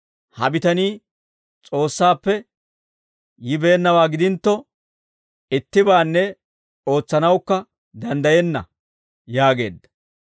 Ha bitanii S'oossaappe yibeennawaa gidintto, ittibaanne ootsanawukka danddayenna» yaageedda.